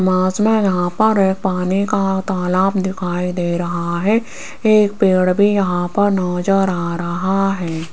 मास में यहां पर एक पानी का तालाब दिखाई दे रहा है एक पेड़ भी यहां पर नजर आ रहा है।